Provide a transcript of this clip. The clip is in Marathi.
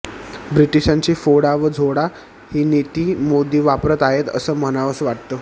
ब्रिटिशांची फोडा व झोडा ही नीती मोदी वापरत आहेत असं म्हणावंसं वाटतं